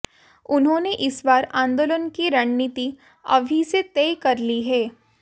उन्होंने इस बार आंदोलन की रणनीति अभी से तय कर ली है